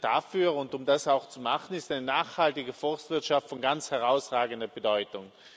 dafür und um das auch zu machen, ist eine nachhaltige Forstwirtschaft von ganz herausragender Bedeutung.